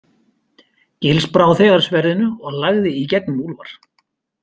Gils brá þegar sverðinu og lagði í gegnum Úlfar.